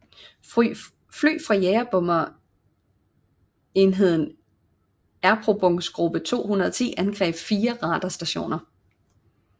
Fly fra jagerbomber enheden Erprobungsgruppe 210 angreb fire radarstationer